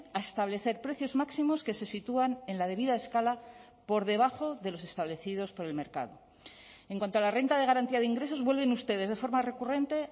a establecer precios máximos que se sitúan en la debida escala por debajo de los establecidos por el mercado en cuanto a la renta de garantía de ingresos vuelven ustedes de forma recurrente